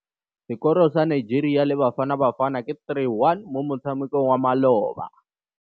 Sekôrô sa Nigeria le Bafanabafana ke 3-1 mo motshamekong wa malôba.